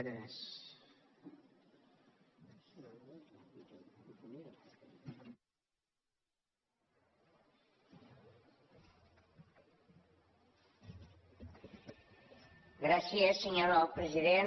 gràcies senyor president